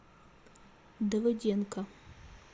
давыденко